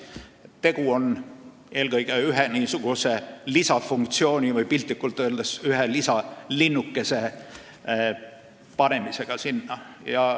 Tegu on eelkõige ühe lisafunktsiooni loomisega või piltlikult öeldes ühe lisalinnukese panemisega.